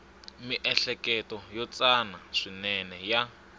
miehleketo yo tsana swinene ya